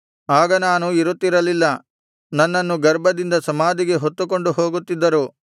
ಆಗ ನಾನು ಇರುತ್ತಿರಲಿಲ್ಲ ನನ್ನನ್ನು ಗರ್ಭದಿಂದ ಸಮಾಧಿಗೆ ಹೊತ್ತುಕೊಂಡು ಹೋಗುತ್ತಿದ್ದರು